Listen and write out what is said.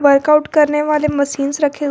workout करने वाले machines रखें--